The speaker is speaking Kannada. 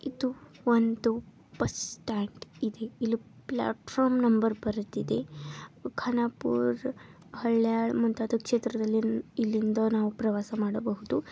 ಇದು ಒಂದು ಬಸ್ ಸ್ಟಾಂಡ್ ಇದೆ ಇಲ್ಲಿ ಪ್ಲಾಟ್ ಫಾರ್ಮ್ ನಂಬರ್ ಬರಿದಿದೆ. ಖಾನಾಪುರ ಹಳ್ಯಾಳ್ ಮುಂತಾದ ಕ್ಷೇತ್ರದಲ್ಲಿ ಇಲ್ಲಿಂದ ನಾವು ಪ್ರವಾವನ್ನು ಮಾಡಬಹುದು.